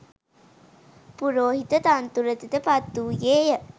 පුරෝහිත තනතුරට ද පත් වූයේ ය.